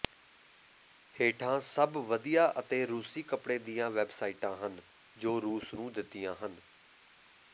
ਹੇਠਾਂ ਸਭ ਵਧੀਆ ਅਤੇ ਰੂਸੀ ਕੱਪੜੇ ਦੀਆਂ ਵੈਬਸਾਈਟਾਂ ਹਨ ਜੋ ਰੂਸ ਨੂੰ ਦਿੱਤੀਆਂ ਹਨ